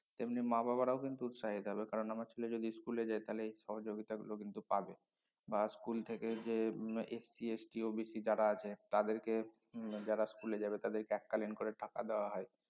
তেমনি মা বাবারাও কিন্তু উৎসাহিত হবে কারন আমার ছেলে যদি school এ যায় তাহলে এই সহযোগিতা গুলো কিন্তু পাবে বা school থেকে যে STSTOBC যারা আছে তাদেরকে যারা school এ যাবে তাদেরকে এককালীন করে টাকা দেওয়া হয়